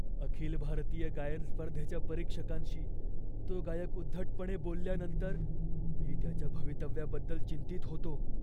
अखिल भारतीय गायन स्पर्धेच्या परीक्षकांशी तो गायक उद्धटपणे बोलल्यानंतर मी त्याच्या भवितव्याबद्दल चिंतित होतो.